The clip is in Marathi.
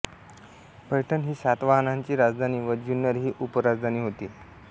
पैठण ही सातवहानांची राजधानी व जुन्नर ही उपराजधानी होती